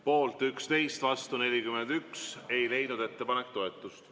Poolt 11 ja vastu 41 ei leidnud ettepanek toetust.